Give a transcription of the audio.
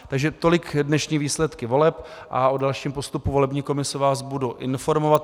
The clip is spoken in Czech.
Takže tolik dnešní výsledky voleb a o dalším postupu volební komise vás budu informovat.